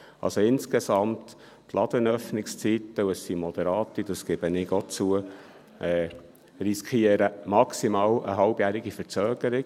Also: Insgesamt riskieren die Ladenöffnungszeiten hier drin – ich gebe auch zu, dass diese moderat sind – maximal eine halbjährige Verzögerung.